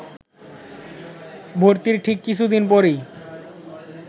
ভর্তির ঠিক কিছু দিন পরই